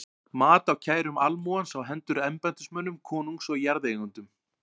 Mat á kærum almúgans á hendur embættismönnum konungs og jarðeigendum.